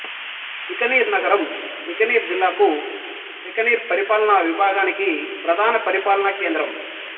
బికనీర్ నగరం బికనీర్ జిల్లాకు బికనీర్ పరిపాలనా విభాగానికి ప్రధాన పరిపాలనా కేంద్రం